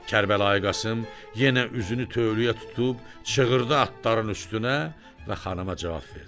Kərbəlayı Qasım yenə üzünü tövləyə tutub çığırdı atların üstünə və xanıma cavab verdi.